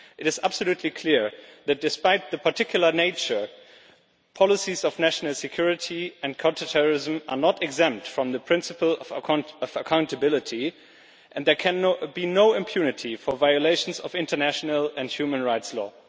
It is absolutely clear that, despite their particular nature, policies of national security and counter terrorism are not exempt from the principle of accountability, and there can be no impunity for violations of international and human rights law.